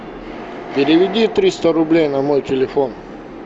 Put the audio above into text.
переведи триста рублей на мой телефон